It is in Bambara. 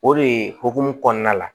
O de ye hokumu kɔnɔna la